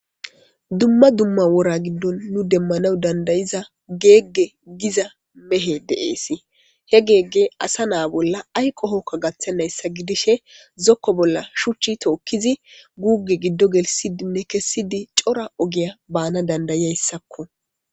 Dumma dumma wora giddon nu demmanaw dandayiza geegge giza mehe deeesi he geegge asa naa bolla ayqo hokka gaththennayssa gidishe zokko bolla shuchchi tookkizi guuge giddo gelisidinne kessidi cora ogiya baana dandayayssakko